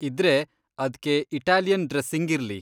ಇದ್ರೆ, ಅದ್ಕೆ Italian dressing ಇರ್ಲಿ.